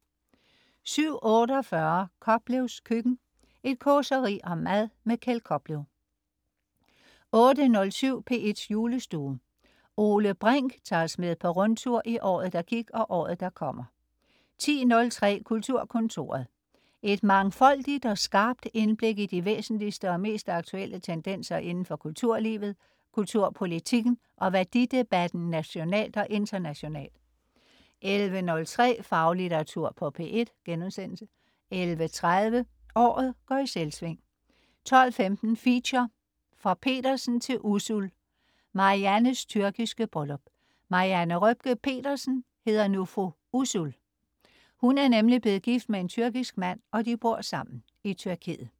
07.48 Koplevs Køkken. Et causeri om mad. Keld Koplev 08.07 P1's Julestue. Ole Brink tager os med på rundtur i året, der gik, og året, der kommer 10.03 Kulturkontoret. Et mangfoldigt og skarpt indblik i de væsentligste og mest aktuelle tendenser indenfor kulturlivet, kulturpolitikken og værdidebatten nationalt og internationalt 11.03 Faglitteratur på P1* 11.30 Året går i Selvsving 12.15 Feature: Fra Pedersen til Usul. Mariannes tyrkiske bryllup. Marianne Røpke Pedersen hedder nu fru Usul. Hun er nemlig blevet gift med en tyrkisk mand, og de bor sammen i Tyrkiet